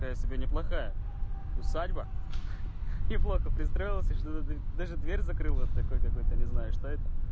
такая себе не плохая усадьба не плохо пристроился даже дверь закрыл вот такой какой-то не знаю что это